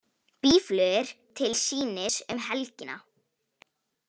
Býflugur til sýnis um helgina